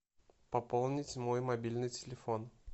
пополнить мой мобильный телефон